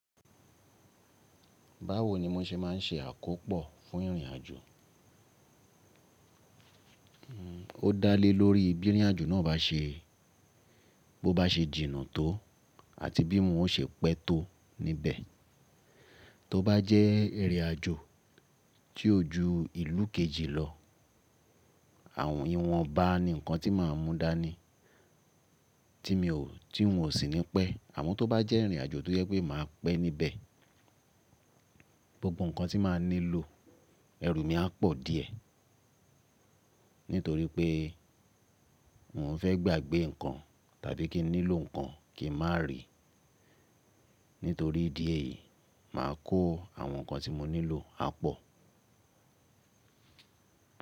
Báwo ni mo se má n se àkópò fún ìrìnàjò? O dálé lórí bí ìrìnàjò náà bá se, bó bá se jìnnà tó àti bí n o se pẹ́ tó níbẹ̀. Tó bá jẹ́ ìrìnàjò tí o ju ìlú kejì lọ, àwọn ìwọnba ni nǹkan tí màá mú dání tí mi ò, tí n ò sí ní pẹ́. Àmọ́ tó bá jẹ́ ìrìnàjò tó jẹ pé màá pẹ́ níbẹ̀, gbogbo nǹkan tí màá nílò ẹrù mi á pọ̀ díẹ̀. Nítorí pé n ò fé gbàgbé nǹkan tàbí kí n nílò nǹkan kí n má ri. Nítorí dí eyìí, màá kó àwọn nǹkan tí mo nílò á pọ̀.